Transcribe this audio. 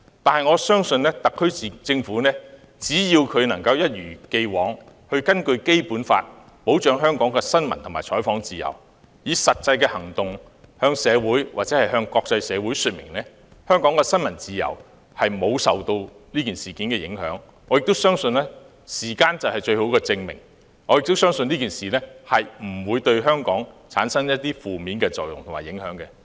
但是，我相信特區政府只要能夠一如既往，根據《基本法》保障香港的新聞和採訪自由，以實際行動向本港社會或國際社會說明，香港的新聞自由沒有受這事件影響。我相信時間將會證明，這次事件不會對香港產生負面作用。